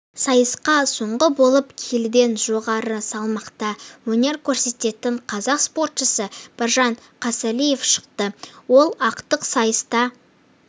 сайысқа соңғы болып келіден жоғары салмақта өнер көрсететін қазақ спортшысы біржан қосалиев шықты ол ақтық сайыста